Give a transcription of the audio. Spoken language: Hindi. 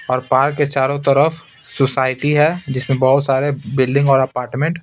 और पार्क के चारों तरफ सोसाइटी है जिसमें बहुत सारे बिल्डिंग और अपार्टमेंट --